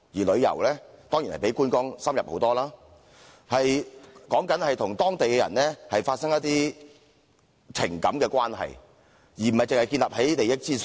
旅遊當然比觀光深入得多，旅客與當地人發生一些情感關係，而不是僅建立於利益之上。